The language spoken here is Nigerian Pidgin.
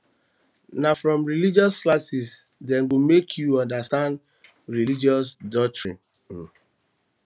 na from religious classes dem go make you understand religious doctrines um